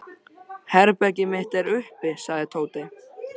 Herbergið mitt er uppi sagði Tóti.